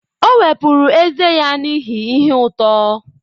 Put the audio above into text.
O wepụrụ ezé ya n'ihi ihe uto.